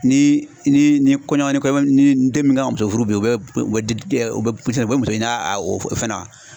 Ni ni ni kɔɲɔ ni kɔɲɔmu ni den min ka muso furu bi u bɛ muso ɲa a fɛn na